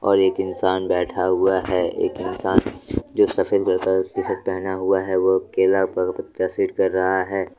और एक इंसान बैठा हुआ है एक इंसान जो सफेद कलर का टीशर्ट पहना हुआ है वो केला पर पत्ता सेट कर रहा है।